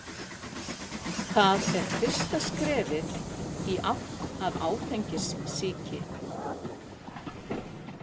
Það er fyrsta skrefið í átt að áfengissýki.